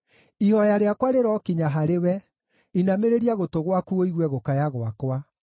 Ihooya rĩakwa rĩrokinya harĩwe; inamĩrĩria gũtũ gwaku ũigue gũkaya gwakwa.